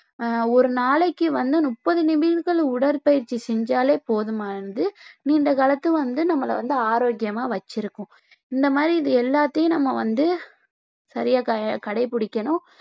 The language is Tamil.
ஆஹ் ஒரு நாளைக்கு வந்து முப்பது நிமிடங்கள் உடற்பயிற்சி செஞ்சாலே போதுமானது நீண்ட காலத்து வந்து நம்மள வந்து ஆரோக்கியமா வச்சிருக்கும் இந்த மாதிரி இது எல்லாத்தையும் நம்ம வந்து சரியா க~ கடைபிடிக்கணும்